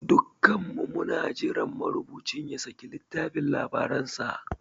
Dukanmu muna jiran marubucin ya saki littafin labaransa.